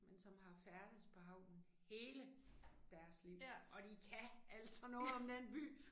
Men som har færdedes på havnen HELE deres liv, og de kan altså noget om den by